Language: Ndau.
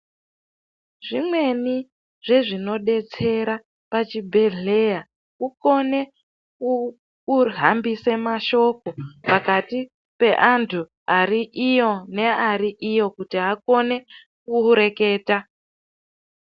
Zvimweni zvezvinodetsera pachibhedhleya kukone kuhambise mashoko pakati peantu ari iyo neari iyo kuti akone kureketa.